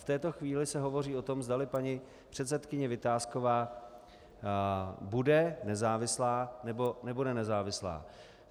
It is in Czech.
V této chvíli se hovoří o tom, zdali paní předsedkyně Vitásková bude nezávislá, nebo nebude nezávislá.